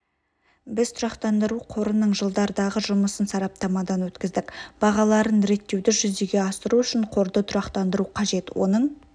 біз тұрақтандыру қорының жылдардағы жұмысын сараптамадан өткіздік бағаларын реттеуді жүзеге асыру үшін қорды тұрақтандыру қажет оның